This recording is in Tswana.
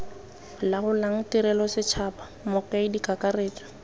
laolang tirelo setšhaba mokaedi kakaretso